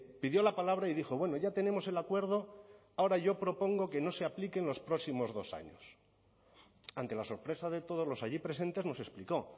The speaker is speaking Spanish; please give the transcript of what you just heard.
pidió la palabra y dijo bueno ya tenemos el acuerdo ahora yo propongo que no se aplique en los próximos dos años ante la sorpresa de todos los allí presentes nos explicó